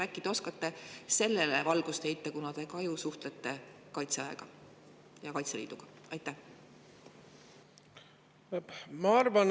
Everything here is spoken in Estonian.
Äkki te oskate sellele valgust heita, kuna te ka ju suhtlete Kaitseväe ja Kaitseliiduga?